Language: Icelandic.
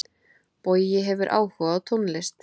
Bogi hefur áhuga á tónlist.